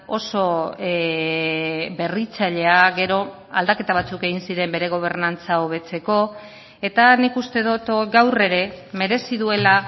oso berritzailea gero aldaketa batzuk egin ziren bere gobernantza hobetzeko eta nik uste dut gaur ere merezi duela